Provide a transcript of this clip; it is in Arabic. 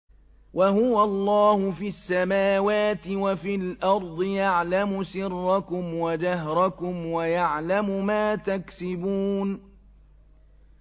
وَهُوَ اللَّهُ فِي السَّمَاوَاتِ وَفِي الْأَرْضِ ۖ يَعْلَمُ سِرَّكُمْ وَجَهْرَكُمْ وَيَعْلَمُ مَا تَكْسِبُونَ